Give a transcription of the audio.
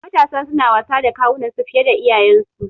Matasa suna wasa da kawunan su fiye da iyayensu